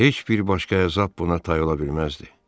Heç bir başqa əzab buna tay ola bilməzdi.